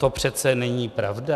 To přece není pravda!